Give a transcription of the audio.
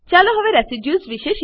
ચાલો હવે રેસિડ્યુઝ